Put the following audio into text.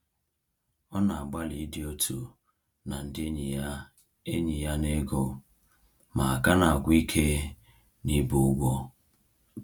Ọ na-agbalị ịdị otu na ndị enyi ya enyi ya n’ego, ma ka na-agwụ ike n’ibu ụgwọ.